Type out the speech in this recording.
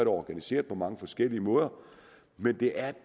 organiseret på mange forskellige måder men det er